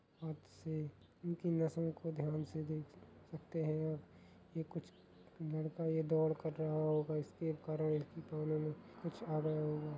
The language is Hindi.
हाथ से इनके नसों को ध्यान से देख सकते है ह ये कुछ लड़का ये दौड़ कर रहा होगा इसके कारण प्रॉब्लम कुछ आ गया होगा ।